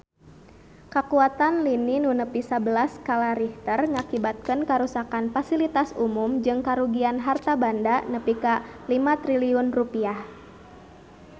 Kakuatan lini nu nepi sabelas skala Richter ngakibatkeun karuksakan pasilitas umum jeung karugian harta banda nepi ka 5 triliun rupiah